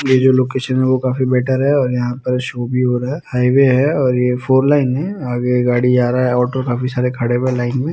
ये जो लोकेसन हैवो काफी बेटर है और यहा पर शो भी हो रहा है हाई वे है और ये फॉर लाइन है आगे गाड़ी जा रहा है ओटो काफी सारे खड़े हुए लाइन में ।